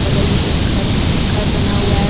बगल में एक घर बना हुआ है।